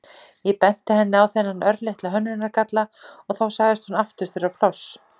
Ég benti henni á þennan örlitla hönnunargalla og þá sagðist hún aftur þurfa pláss.